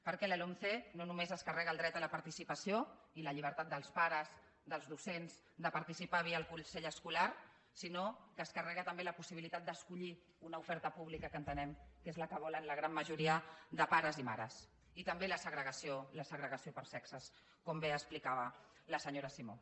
perquè la lomce no només es carrega el dret a la participació i la llibertat dels pares dels docents de participar via el consell escolar sinó que es carrega també la possibilitat d’escollir una oferta pública que entenem que és la que volen la gran majoria de pares i mares i també la segregació per sexes com bé explicava la senyora simó